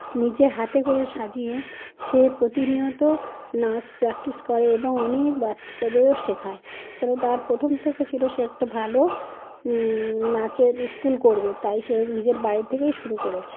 নিজে হাতে করে সাজিয়ে সে প্রতিনিয়ত নাচ প্র্যাকটিস করে এবং অনেক-অ বাচ্চাদেরও শেখায় এবং তার প্রথম থেকে ছিল সে একটা ভালো উম নাচের ইস্কুল করবে তাই সে নিজের বাড়ি থেকে শুরু করেছে।